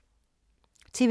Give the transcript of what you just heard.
TV 2